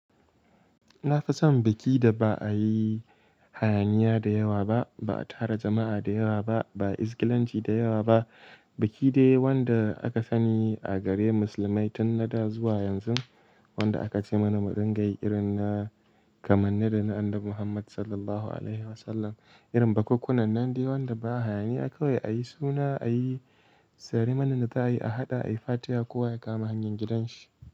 Na fi son biki da ba a yi hayaniya da yawa ba, ba a tara jama'a da yawa ba, ba a izgilanci da yawa ba. Biki dai wanda aka sani a gare musulmai tun na da zuwa yanzu, wanda aka ce mana murungaiyi rin na kamar na Annabi Muhammad Sallallahu Alaihi Wasallam. Irin bakakkunan nan dai wanda ba a hayaniya kawai a yi suna, a yi ceremony da za a yi, a haɗa, a yi fatiya kowa ya kama hanyar gidan shi.